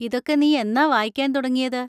ഇതൊക്കെ നീ എന്നാ വായിക്കാൻ തുടങ്ങിയത്?